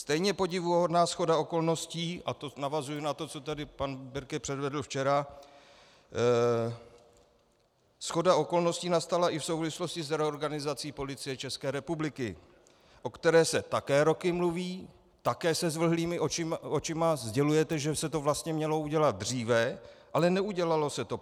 Stejně podivuhodná shoda okolností, a to navazuji na to, co tady pan Birke předvedl včera, shoda okolností nastala i v souvislosti s reorganizací Policie České republiky, o které se také roky mluví, také se zvlhlýma očima sdělujete, že se to vlastně mělo udělat dříve, ale neudělalo se to.